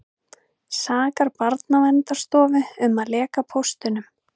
Sakar Barnaverndarstofu um að leka póstunum